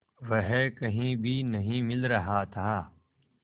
वह कहीं भी नहीं मिल रहा था